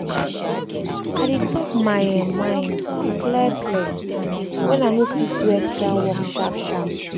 i dey talk my um mind clear clear when i no fit do extra work sharp sharp.